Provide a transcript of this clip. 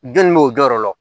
Jɔnni b'o jɔyɔrɔ la